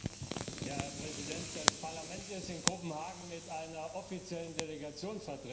Herr Präsident! Das Parlament ist in Kopenhagen mit einer offiziellen Delegation vertreten.